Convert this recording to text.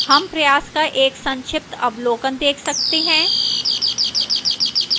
हम प्रयास का एक संक्षिप्त अवलोकन देख सकते हैं